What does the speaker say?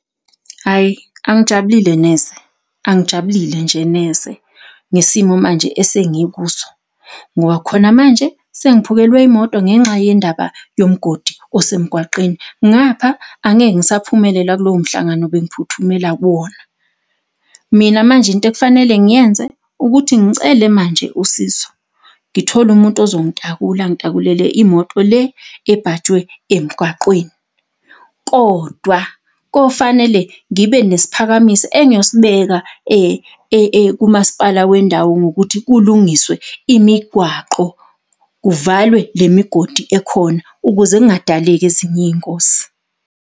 Hhayi angijabulile neze, angijabulile nje neze ngesimo manje esengikuso. Ngoba khona manje sengiphukelwe imoto ngenxa yendaba yomgodi osemgwaqeni, ngapha angeke ngisaphumelela kulowo mhlangano ebengiphuthumela kuwona. Mina manje into ekufanele ngiyenze ukuthi ngicele manje usizo, ngithole umuntu ozongitakula, angitakulele imoto le ebhajwe emgwaqweni, kodwa kofanele ngibe nesiphakamiso engiyosibeka kumasipala wendawo ngokuthi kulungiswe imigwaqo, kuvalwe le migodi ekhona, ukuze kungadaleki ezinye iy'ngozi.